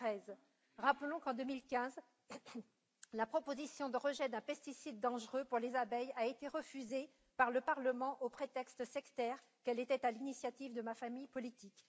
2013. Rappelons qu'en 2015, la proposition de rejet d'un pesticide dangereux pour les abeilles a été refusée par le Parlement, au prétexte sectaire qu'elle était à l'initiative de ma famille politique.